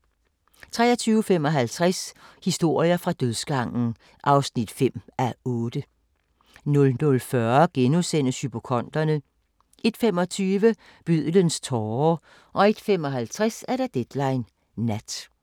23:55: Historier fra dødsgangen (5:8) 00:40: Hypokonderne * 01:25: Bødlens tårer 01:55: Deadline Nat